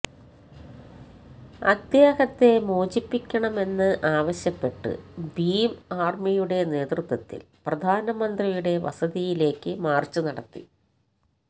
അദ്ദേഹത്തെ മോചിപ്പിക്കണമെന്ന് ആവശ്യപ്പെട്ട് ഭീം ആര്മിയുടെ നേതൃത്വത്തില് പ്രധാനമന്ത്രിയുടെ വസതിയിലേക്ക് മാര്ച്ച് നടത്തി